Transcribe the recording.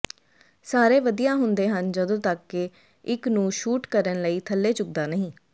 ਸਾਰੇ ਵਧੀਆ ਹੁੰਦੇ ਹਨ ਜਦੋਂ ਤੱਕ ਕਿ ਇੱਕ ਨੂੰ ਸ਼ੂਟ ਕਰਨ ਲਈ ਥੱਲੇ ਝੁਕਦਾ ਨਹੀਂ